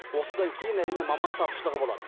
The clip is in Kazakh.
осыдан кейін әрине маман тапшылығы болады